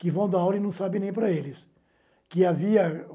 que vão dar aula e não sabem nem para eles. Que havia